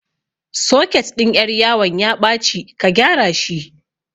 Soket ɗin ƴar yawan ya ɓaci ka gyara shi